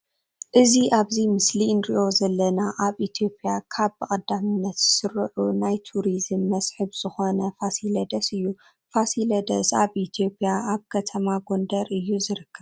እዚ ኣብዚ ምስሊ እንርእዮ ዘለና ኣብ ኢትዮጵያ ካብ ብቀዳምነት ዝስርዑ ናይ ቱሪዝምን መስሕብን ዝኮነ ፋሲለደስ እዩ። ፋሲለደስ ኣብ ኢትዮጵያ ኣብ ከተማ ጎንደር እዩ ዝርከብ።